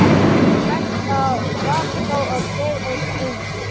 Hann opnar augun, hægt, af varkárni, af trega og draum